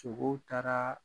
Togow taaraa